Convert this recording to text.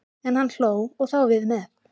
En hann hló, og þá við með.